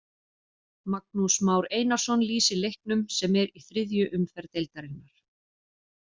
Magnús Már Einarsson lýsir leiknum sem er í þriðju umferð deildarinnar.